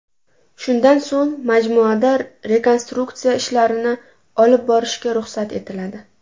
Shundan so‘ng majmuada rekonstruktsiya ishlarini olib borishga ruxsat etiladi.